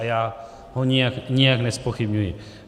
A já ho nijak nezpochybňuji.